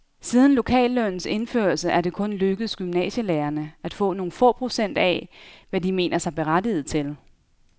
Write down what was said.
Siden lokallønnens indførelse er det kun lykkedes gymnasielærerne at få nogle få procent af, hvad de mener sig berettiget til.